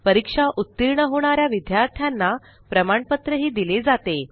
परीक्षा उतीर्ण होणा या विद्यार्थ्यांना प्रमाणपत्रही दिले जाते